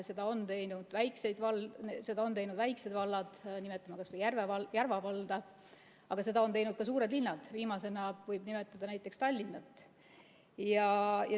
Seda on teinud väiksed vallad, nimetame kas või Järva valda, aga seda on teinud ka suured linnad, viimasena võib nimetada näiteks Tallinna.